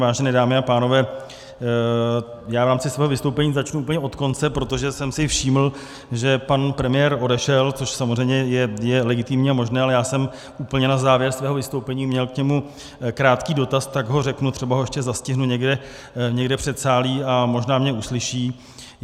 Vážené dámy a pánové, já v rámci svého vystoupení začnu úplně od konce, protože jsem si všiml, že pan premiér odešel, což samozřejmě je legitimní a možné, ale já jsem úplně na závěr svého vystoupení měl k němu krátký dotaz, tak ho řeknu, třeba ho ještě zastihnu někde v předsálí a možná mě uslyší.